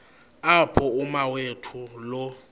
apho umawethu lo